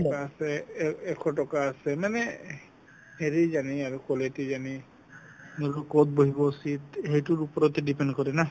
আছে এ~ এশ টকা আছে মানে হেৰি জানি আৰু quality জানি ক'ত বহিব seat সেইটোৰ ওপৰতে depend কৰে না